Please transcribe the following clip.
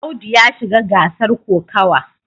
Audu ya shiga gasar kokawa.